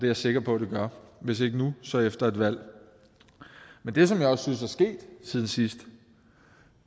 jeg sikker på det gør hvis ikke nu så efter et valg men det som jeg også synes er sket siden sidst